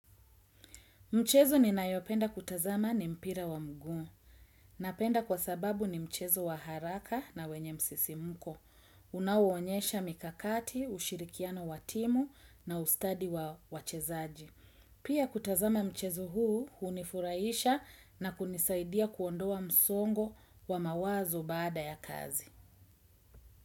Mchezo ninayopenda kutazama ni mpira wa mguu. Napenda kwa sababu ni mchezo wa haraka na wenye msisimko. Unauonyesha mikakati, ushirikiano wa timu na ustadi wa wachezaji. Pia kutazama mchezo huu hunifurahisha, na kunisaidia kuondoa msongo wa mawazo baada ya kazi.